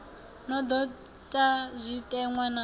no do ta zwitenwa na